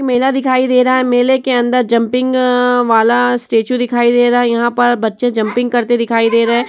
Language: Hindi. मेला दिखाई दे रहा है। मेले के अंदर जंपिंग अ- वाला स्टैचू दिखाई दे रहा है। यहां पर बच्चे जंपिंग करते दिखाई दे रहे है।